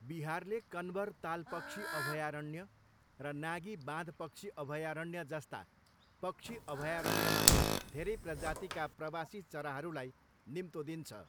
बिहारले कन्वर ताल पक्षी अभयारण्य र नागी बाँध पक्षी अभयारण्य जस्ता पक्षी अभयारण्यमा धेरै प्रजातिका प्रवासी चराहरूलाई निम्तो दिन्छ।